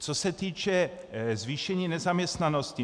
Co se týče zvýšení nezaměstnanosti.